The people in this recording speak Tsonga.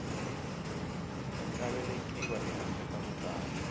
nga velekiwa ehandle ka vukati